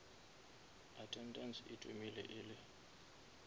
attendance e thomile e le